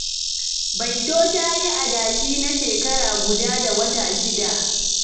Baito ta yi adashi na shekara guda da wata shida.